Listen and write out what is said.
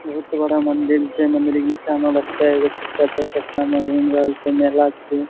बहुत बड़ा मंदिर छे। मंदिर के निचा में बच्चा एगो छोटा चार चक्का में घूम रहल छे। मेला छे।